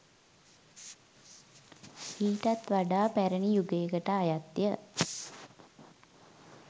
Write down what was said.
ඊටත් වඩා පැරණි යුගයකට අයත් ය.